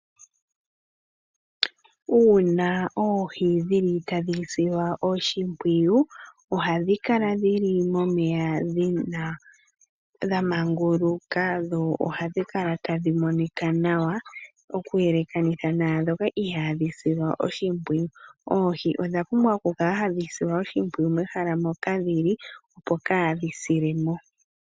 Uuna oohi dhi li tadhi silwa oshimpwiyu, ohadhi kala dhi li momeya dha maanguluka dho ohadhi dkala tadhi monika nawa okuyelekanitha naandhoka ihaadhi silwa oshimpwiyu. Oohi odha pumbwa okukala hadhi silwa oshimpwiyu mehala moka dhi li opo kaa dhi sile mo.